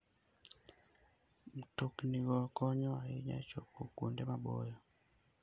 Mtoknigo konyo ahinya e chopo kuonde maboyo.